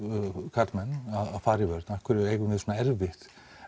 karlmenn að fara í vörn af hverju eigum við svona erfitt